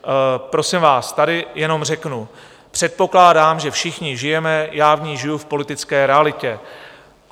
Prosím vás, tady jenom řeknu: předpokládám, že všichni žijeme - já v ní žiju - v politické realitě.